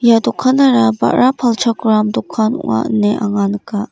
ia dokanara ba·ra palchakram dokan ong·a ine anga nika.